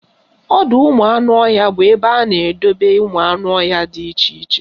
Ọdọụmụanụọhịa bụ ebe a na-edebe ụmụanụọhịa dị iche iche